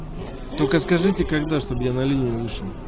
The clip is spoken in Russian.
только скажите когда чтобы я на линии вышел